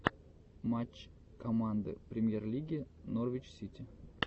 матч команды премьер лиги норвич сити